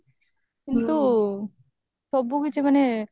କିନ୍ତୁ ସବୁ କିଛି ମାନେ